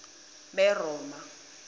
beroma